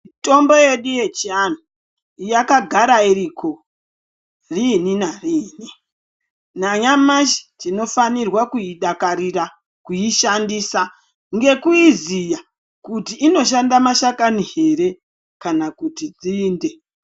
Mitombo yedu yechianhu yakagara iriko rini narini nanyamashi tinofanirwa kuidakarira kuishandisa ngekuiziya kuti inoshanda mashakani here kana kuti nzinde.